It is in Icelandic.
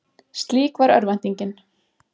Slík var örvæntingin.